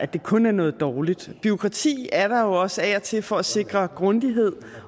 det kun er noget dårligt bureaukrati er der jo også af og til for at sikre grundighed